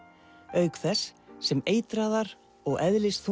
auk þess sem eitraðar og